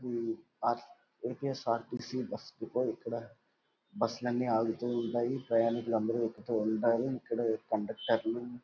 AP S R T C bus depot ఇక్కడ. బస్సులన్నీ ఆగుతూ ఉంటాయి. ప్రయాణికులు అందరూ ఎక్కుతూ ఉంటారు.ఇక్కడ కండక్టరు --